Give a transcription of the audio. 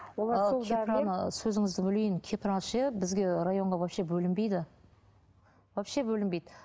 сөзіңізді бөлейін кепраны ше бізге районға вообще бөлінбейді вообще бөлінбейді